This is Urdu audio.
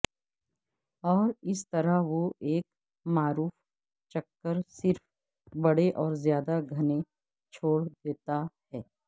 اور اس طرح وہ ایک معروف چکر صرف بڑے اور زیادہ گھنے چھوڑ دیتا ہے